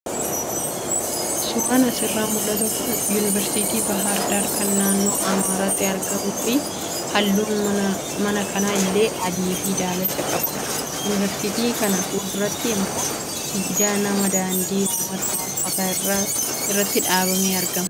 Suuraan asirraa mul'atu kun yuunivarsiitii Baahir Daar kan naannoo Amaaraatti argamuu fi halluun mana kana illee adii fi daalacha qabudha. Yuunivarsiitii kana fuulduratti immoo siidaa namaa daandii uummataa marfataa irratti dhaabamee argama.